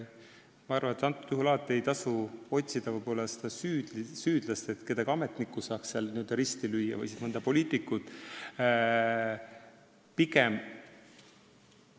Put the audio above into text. Ma arvan, et alati ei tasu otsida süüdlast, et saaks mõne ametniku või siis mõne poliitiku n-ö risti lüüa.